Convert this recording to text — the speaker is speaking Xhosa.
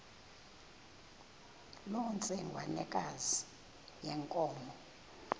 loo ntsengwanekazi yenkomo